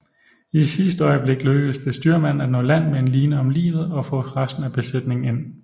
I sidste øjeblik lykkedes det styrmanden at nå land med en line om livet og få resten af besætningen ind